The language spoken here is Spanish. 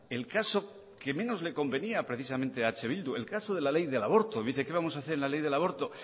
el caso que menos le convenía precisamente a eh bildu el caso de la ley del aborto dice qué vamos a hacer en la ley del aborto